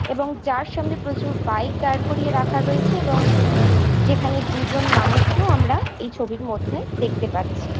এবং যার সামনে প্রচুর বাইক দাঁড় করিয়ে রাখা রয়েছে এবং যেখানে দুজন মানুষকেও আমরা এই ছবির মধ্যে দেখতে পাচ্ছি।